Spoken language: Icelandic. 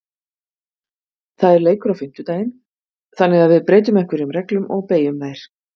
Það er leikur á fimmtudaginn þannig að við breytum einhverjum reglum og beygjum þær.